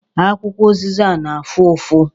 Akwụkwọ ụzịza na-afụ ụfụ